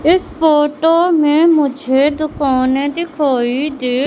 इस फोटो में मुझे दुकाने दिखाई दे--